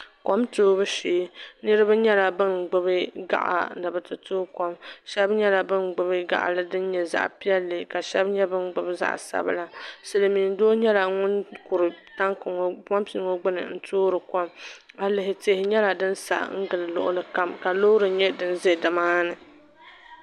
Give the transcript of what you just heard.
Kom toobu shɛɛ niriba ngɛla ban gbibi gaɣa ni be ti tooi kom shɛb nyɛ la ban gbibi gaɣli din nyɛ zaɣ pɛlli ka shɛb nyɛ ban gbib zaɣ sabila silmin doo nyɛla ŋun kurim pompi ŋɔ gbini n toori kom ayi lihi tihi nyɛla din sa ngili luɣli kam ka loori za nimaa ni